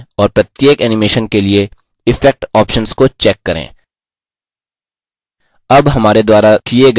विभिन्न animations बनाएँ और प्रत्येक animation के लिए effect options को check करें